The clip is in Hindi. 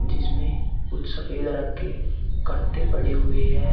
जिसमें कुछ सफेद रंग के कट्टे पड़े हुए हैं।